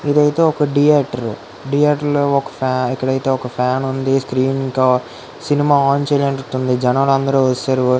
ఇదైతే ఒక theatre . Theatre లో ఒక ఫ్యాన్ ఉంది. స్క్రీన్ ఇంకా సినిమా ఆన్ చేయనట్టుంది. జనాలు అందరు వచ్చేసారు.